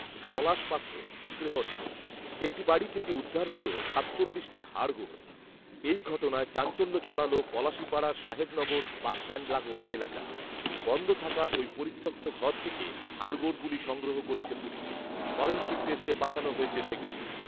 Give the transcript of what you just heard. পলাশ পাত্র, তেহট্ট, একটি বাড়ি থেকে উদ্ধার হল সাতচল্লিশটি হাড়গোড়৷ এই ঘটনায় চাঞ্চল্য ছড়াল পলাশিপাড়ার সাহেবনগর বাসস্ট্যান্ড লাগোয়া এলাকায়৷ বন্ধ থাকা ওই পরিত্যক্ত ঘর থেকে হাড়গোড়গুলি সংগ্রহ করেছে পুলিশ৷ ফরেনসিক টেস্টে পাঠানো হয়েছে সেগুলি৷